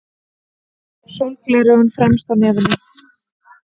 Sólgleraugun fremst á nefinu.